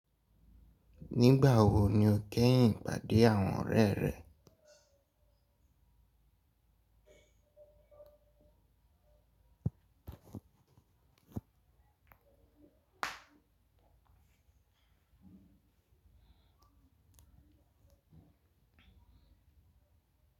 Nígbà wo ni o kẹ́yìn ìpàdé àwọn ọ̀rẹ́ rẹ?